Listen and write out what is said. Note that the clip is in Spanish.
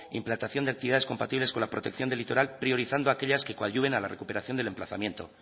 implantación de actividades compatibles con la protección del litoral priorizando aquellas que coadyuven a la recuperación del emplazamiento